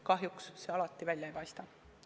Kahjuks see alati nii välja ei kuku.